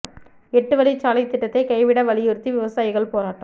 எட்டு வழிச் சாலை திட்டத்தை கைவிட வலியுறுத்தி விவசாயிகள் போராட்டம்